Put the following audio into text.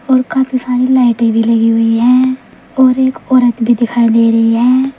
और काफी सारी लाइटें भी लगी हुई है और एक औरत भी दिखाई दे रही है।